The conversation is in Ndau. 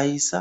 Aisa,